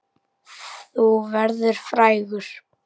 Þú verður frægur!